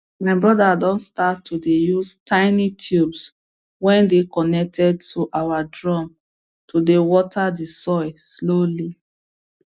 my brother don start to dey use tiny tubes wey dey connected to our drum to dey water the soil slowly